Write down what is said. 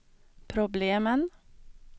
problemen